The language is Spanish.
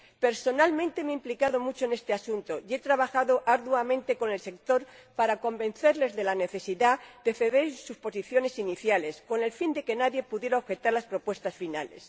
Personalmente, me he implicado mucho en este asunto y he trabajado arduamente con el sector, para convencerles de la necesidad de ceder en sus posiciones iniciales, con el fin de que nadie pudiera objetar las propuestas finales.